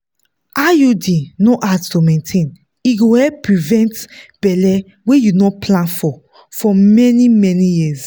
iud no hard to maintain e go help prevent belle wey you no plan for for many-many years.